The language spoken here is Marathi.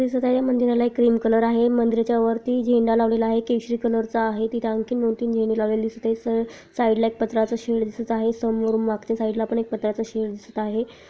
दिसत आहे मंदिरला क्रीम कलर आहे मंदिरच्या वरती झेंडा लावलेला आहे केशरी कलर चा आहे तिथे आणखी दोन तीन झेंडे लवलेले दिसत आहे साइड ला एक पात्र्याच शेड दिसत आहे समोरून मागच्या साइड ल पात्र्याच शेड दिसत आहे.